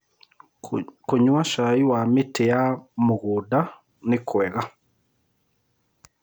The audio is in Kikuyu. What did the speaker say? Kũnyua cai wa mĩtĩ ya mũgũnda nĩkwega